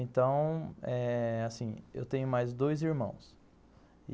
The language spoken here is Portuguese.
Então eh... assim, eu tenho mais dois irmãos.